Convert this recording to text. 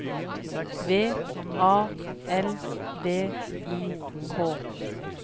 V A L V I K